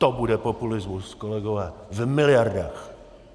To bude populismus, kolegové, v miliardách!